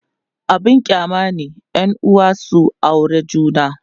abun kyama ne yanuwa su aure juna